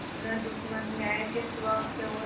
न दुश्मन न्याय के सिवा उसे और